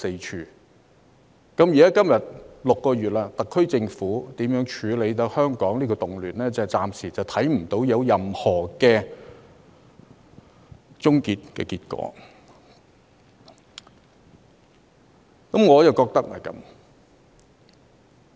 時至今天，已經過了6個月，特區政府處理香港動亂的手法，暫時似乎仍沒有任何平息的跡象，我深感不以為然。